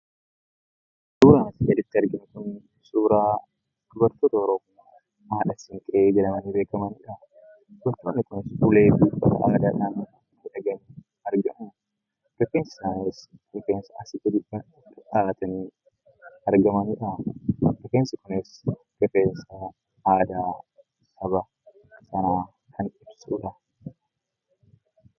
Suuraan asii gaditti arginu kun suuraa dubartoota Oromoo 'Haadha Siinqee' jedhamanii beekamanidha. Dubartoonni kun ulee qabatanii dhaabatanii argamu. Rifeensi isaaniis rifeensa asii gadi dhahatanii argamanidha. Rifeensi kun rifeensa aadaa Oromoo sanaa kan ibsudha.